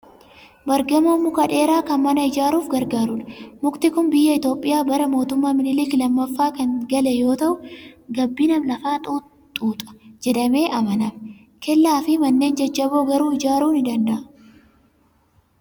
Baargamoon muka dheeraa kan mana ijaaruuf gargaarudha. Mukti kun biyya Itoophiyaa bara mootummaa Minilik Lammaffaa kan gale yoo ta'u, gabbina lafaa xuuxa jedhamee amanama. Kellaa fi manneen jajjaboo garuu ijaaruu ni danda'a.